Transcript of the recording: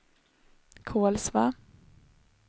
Kolsva